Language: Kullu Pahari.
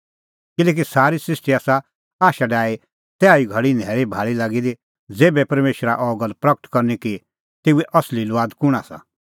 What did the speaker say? किल्हैकि सारी सृष्टी आसा आशा डाही तैहा धैल़ी न्हैल़ीभाल़ी लागी दी ज़ेभै परमेशरा अह गल्ल प्रगट करनी कि तेऊए असली लुआद कुंण आसा